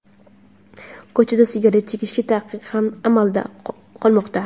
Ko‘chada sigaret chekishga taqiq ham amalda qolmoqda.